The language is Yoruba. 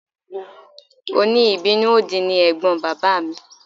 Òní ìbínú òdì ni ẹ̀gbọ́n bàbá mi